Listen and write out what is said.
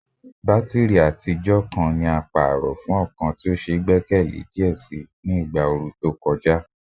Batiri atijọ ti paarọ jade fun ọkan ti o gbẹkẹle diẹ sii ni igba ooru to kọja